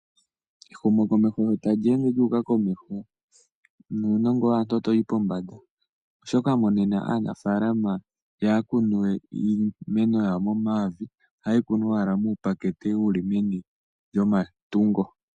Ehumukomeho sho ta li ende lyu uka komeho, nuunongo waantu ota wu yi pombanda, osho ngashinge aanafaalama iha ya kunu we iimeno yawo momavi, oha ye yi kunu owala muupakete, wu li meni lyomatungo.